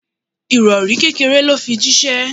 Ìrori kékéré lo fi jísé